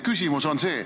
Küsimus, palun!